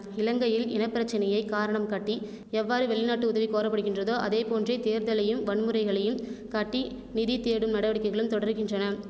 இலங்கையில் இன பிரச்சனையை காரணம் காட்டி எவ்வாறு வெளிநாட்டு உதவி கோரப்படுகின்றதோ அதேபோன்றே தேர்தலையும் வன்முறைகளையும் காட்டி நிதி தேடும் நடவடிக்கைகளும் தொடருகின்றன